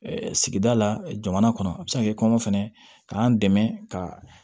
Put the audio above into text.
Sigida la jamana kɔnɔ a bɛ se ka kɛ kɔngɔ fɛnɛ ye k'an dɛmɛ ka